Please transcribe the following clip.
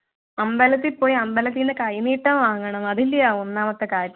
അമ്പലത്തിൽ പോയി അമ്പലത്തിന്നു കൈനീട്ടം വാങ്ങണം അതെന്നയാ ഒന്നാമത്തെ കാര്യം